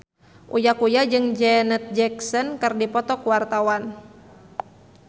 Uya Kuya jeung Janet Jackson keur dipoto ku wartawan